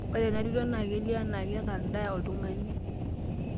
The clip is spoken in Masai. Ore ena tito naa kelio enaa kekaldaa oltungani.